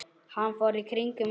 Hann fór í hring yfir